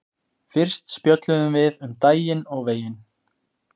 Fyrst spjölluðum við um daginn og veginn.